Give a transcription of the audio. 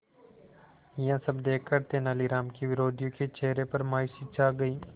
यह सब देखकर तेनालीराम के विरोधियों के चेहरे पर मायूसी छा गई